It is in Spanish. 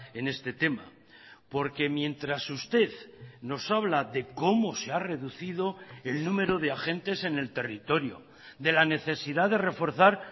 en este tema porque mientras usted nos habla de cómo se ha reducido el número de agentes en el territorio de la necesidad de reforzar